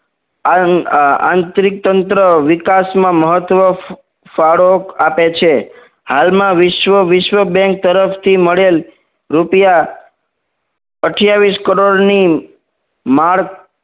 આ આંતરિક તંત્ર વિકાસમાં મહત્વ ફાળો આપે છે હાલમાં વિશ્વ વિશ્વ બેંક તરફથી મળેલ રૂપિયા અથીયાવીશ કરોડની માર્ક